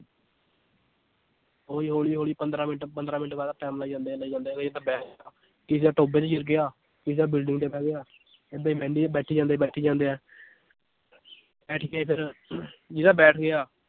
ਉਹੀ ਹੌਲੀ ਹੌਲੀ ਪੰਦਰਾਂ ਮਿੰਟ ਪੰਦਰਾਂ ਮਿੰਟ ਬਾਅਦ ਦਾ time ਲਾਈ ਜਾਂਦੇ ਆ ਲਾਈ ਜਾਂਦੇ ਆ ਕਿਸੇ ਦਾ ਟੋਭੇ 'ਚ ਗਿਰ ਗਿਆ ਕਿਸੇ ਦਾ building ਤੇ ਬਹਿ ਗਿਆ ਏਦਾਂ ਹੀ ਬਹਿੰਦੇ ਬੈਠੀ ਜਾਂਦੇ ਬੈਠੀ ਜਾਂਦੇ ਆ ਫਿਰ ਜਿਹਦਾ ਬੈਠ ਗਿਆ